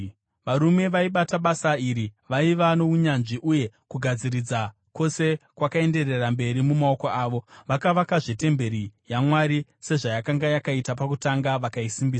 Varume vaibata basa iri vaiva nounyanzvi uye kugadziridza kwose kwakaenderera mberi mumaoko avo. Vakavakazve temberi yaMwari sezvayakanga yakaita pakutanga, vakaisimbisa.